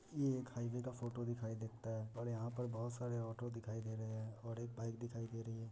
यह एक हाईवे का फोटो दिखाई देता है और यहाँ पर बोहत सारे ऑटो दिखाई दी रे हैं और एक बाइक दिखाई दी रही है।